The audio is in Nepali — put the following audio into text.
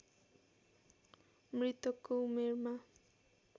मृतकको उमेरमा